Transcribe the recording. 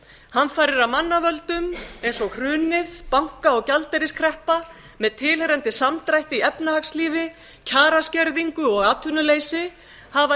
hamfarir af mannavöldum eins og hrunið banka og gjaldeyriskreppa með tilheyrandi samdrætti í efnahagslífi kjaraskerðingu og atvinnuleysi hafa